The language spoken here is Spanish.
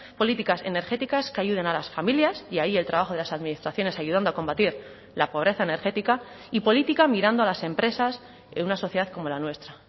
políticas energéticas que ayuden a las familias y ahí el trabajo de las administraciones ayudando a combatir la pobreza energética y política mirando a las empresas en una sociedad como la nuestra